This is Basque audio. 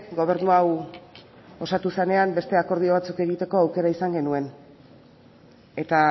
gobernu hau osatu zenean beste akordio batzuk egiteko aukera izan genuen eta